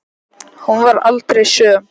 Hún varð aldrei söm.